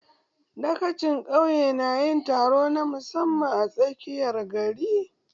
Dagacin ƙauye na yin taron na musamman a tsakiyar gari